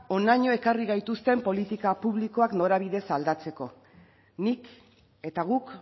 honaino ekarri gaituzten politika publikoak norabidez aldatzeko nik eta guk